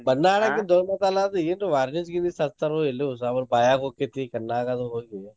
ಬನ್ನಾ ಆಡಾಕಿಂದ ಹೋಬಂಕಲ್ಲ್ ಅದು ಏನರ್ varnish ಗಿರ್ನಿಷ್ ಹಚ್ತರೋ ಎಲ್ಯೋ ಸಮ್~ ಬಾಯ್ಯಾಗ್ ಹೋಕ್ಕತಿ ಕನ್ನಾಗದು ಹೋಗಿ.